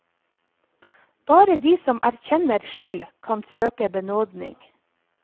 Bare de som erkjenner skyld, kan søke benådning.